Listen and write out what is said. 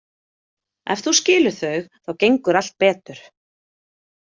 Ef þú skilur þau þá gengur allt betur.